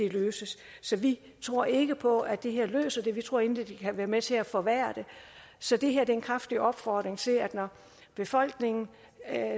løses så vi tror ikke på at det her løser det vi tror egentlig at det kan være med til at forværre det så det her er en kraftig opfordring til at når befolkningen